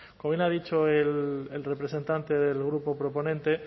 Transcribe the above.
como bien ha dicho el representante del grupo proponente